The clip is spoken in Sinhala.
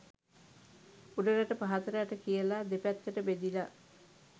උඩරට පහත රට කියලා – දෙපැත්තට බෙදිලා